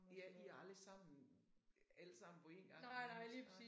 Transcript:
I er I er aldrig sammen alle sammen på én gang nærmest nej